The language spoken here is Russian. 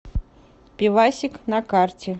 пивасик на карте